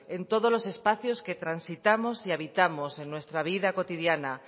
en todos los espacios que transitamos y habitamos en nuestra vida cotidiana